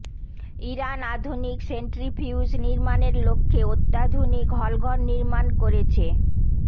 Iran আধুনিক centrifuge নির্মাণের লক্ষ্যে অত্যাধুনিক হলঘর নির্মাণ করেছে